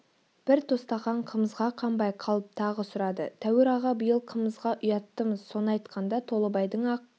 бір тостаған қымызға қанбай қалып тағы сұрады тәуір аға биыл қымызға ұяттымыз соны айтқанда толыбайдың ақ